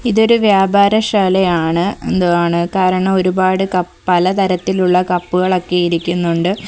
ഇതൊരു വ്യാപാരശാലയാണ് എന്തുവാണ് കാരണം ഒരുപാട് പല തരത്തിലുള്ള കപ്പുകൾ ഒക്കെ ഇരിക്കുന്നുണ്ട്.